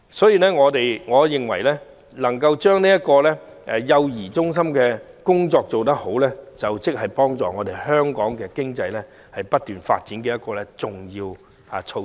因此，我認為將幼兒中心的工作做好是促進香港經濟不斷發展的一項重要措施。